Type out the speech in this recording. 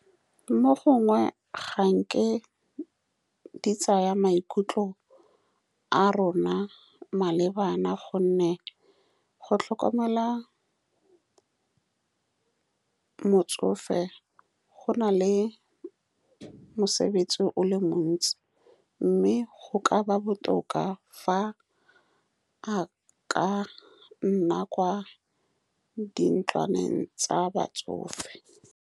Mo gongwe ga nke di tsaya maikutlo a rona malebana, ka gonne go tlhokomela motsofe go na le mosebetsi o le montsi, mme go ka ba botoka fa a ka nna kwa di ntlwaneng tsa batsofe.